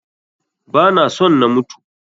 Ba na son na mutu.